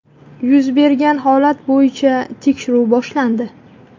Yuz bergan holat bo‘yicha tekshiruv boshlandi.